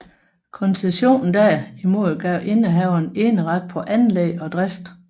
Koncessionen derimod gav indehaveren eneret på anlæg og drift